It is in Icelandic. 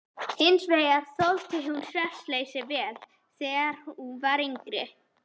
Hins vegar þoldi hún svefnleysi vel þegar hún var yngri.